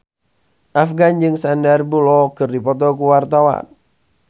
Afgan jeung Sandar Bullock keur dipoto ku wartawan